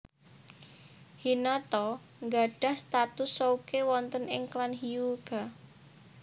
Hinata gadhah status souke wonten ing klan Hyuuga